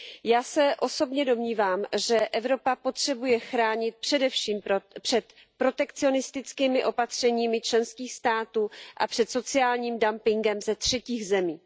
Já se osobně domnívám, že Evropa potřebuje chránit především před protekcionistickými opatřeními členských států a před sociálním dumpingem ze třetích zemí.